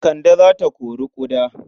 Kande za ta kori ƙuda.